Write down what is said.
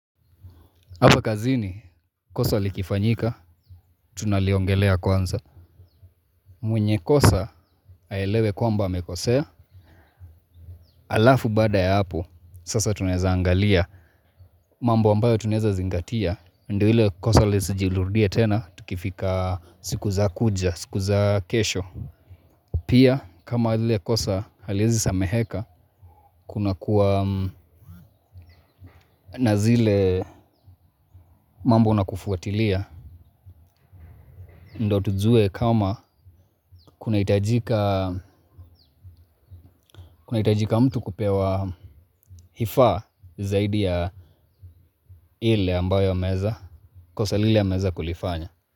Hapa kazini, kosa likifanyika, tunaliongelea kwanza. Mwenye kosa aelewe kwamba amekosea, halafu baada ya hapo, sasa tunaeza angalia. Mambo ambayo tunaeza zingatia, ndo ile kosa lisijirudie tena, tukifika siku za kuja, siku za kesho. Pia, kama lile kosa haliezi sameheka, kuna kuwa na zile mambo na kufuatilia. Ndo tujue kama kunahitajika mtu kupewa hifa zaidi ya ile ambayo ameeza kosa lile ameweza kulifanya.